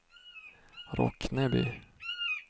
Rockneby